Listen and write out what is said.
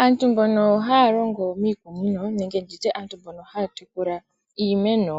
Aantu mbono haya longo miikunino nenge tutye mbono haya tekula iimeno